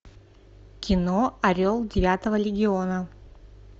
кино орел девятого легиона